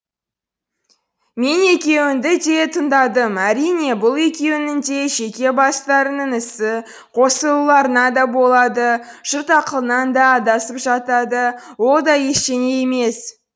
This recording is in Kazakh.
мен екеуіңді де тыңдадым әрине бұл екеуіңнің де жеке бастарыңның ісі қосылуларыңа да болады жұрт ақылынан да адасып жатады ол да ештеңе емес